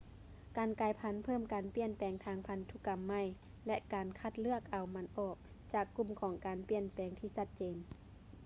ການກາຍພັນ ເພີ່ມການປ່ຽນແປງທາງພັນທຸກຳໃໝ່ ແລະ ການຄັດເລືອກເອົາມັນອອກຈາກກຸ່ມຂອງການປ່ຽນແປງທີ່ຊັດເຈນ